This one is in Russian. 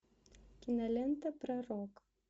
кинолента пророк